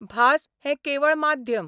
भास हें केवळ माध्यम.